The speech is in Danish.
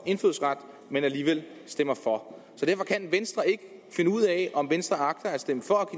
indfødsret men alligevel stemmer for så kan venstre ikke finde ud af om venstre agter at stemme for at